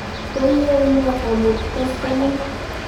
Koiyoe ne amut koskoling'?